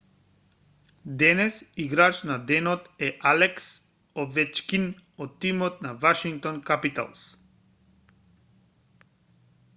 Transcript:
денес играч на денот е алекс овечкин од тимот на вашингтон капиталс